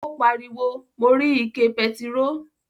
O pariwo, "Mo rí ike pẹtiró".